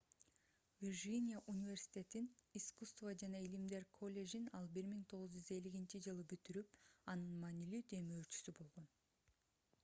виржиния университетинин искусство жана илимдер коллежин ал 1950-жылы бүтүрүп анын маанилүү демөөрчүсү болгон